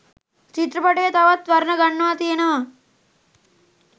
චිත්‍රපටය තවත් වර්ණ ගන්වා තියනව